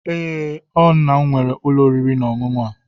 Ee, o nna'm were ulo oriri na onunu a.